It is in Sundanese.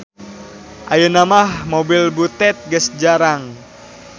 Ayeuna mah mobil butet geus jarang.